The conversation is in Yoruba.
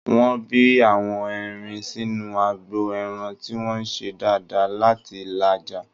Wọ́n bí àwọn erin sínú agbo ẹran tí wọ́n ń ṣe dáadáa láti là á já